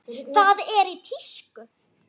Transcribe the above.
Það er í tísku.